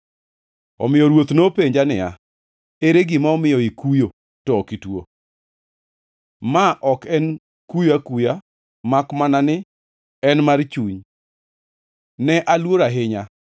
omiyo ruoth nopenja niya, “Ere gima omiyo ikuyo to ok ituo? Ma ok en kuyo akuya makmana ni en mar chuny.” Ne aluor ahinya,